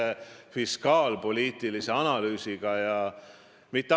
Me räägime konkreetselt siseministri isikust ja tema sobivusest oma ametit pidada.